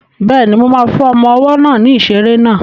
Bẹ́ẹ̀ni, mo ma fún ọmọ ọwọ́ náà ní ìṣeré náà